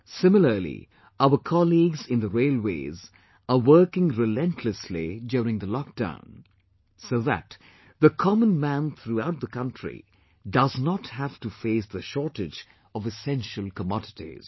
Similarly our colleagues in the Railways are working relentlessly during the lockdown, so that the common man throughout the country does not have to face the shortage of essential commodities